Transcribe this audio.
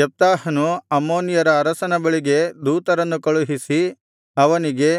ಯೆಪ್ತಾಹನು ಅಮ್ಮೋನಿಯರ ಅರಸನ ಬಳಿಗೆ ದೂತರನ್ನು ಕಳುಹಿಸಿ ಅವನಿಗೆ